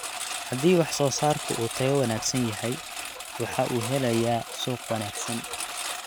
Haddii wax-soo-saarku uu tayo wanaagsan yahay, waxa uu helayaa suuq wanaagsan.